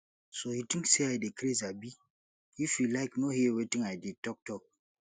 so you think say i dey craze abi if you like no hear wetin i dey talk talk